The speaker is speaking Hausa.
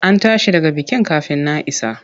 An tashi daga bikin kafin na isa.